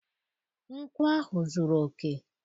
nkwụ ahụ zuru oke.